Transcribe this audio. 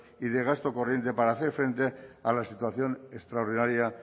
y de gasto corriente para hacer frente a la situación extraordinaria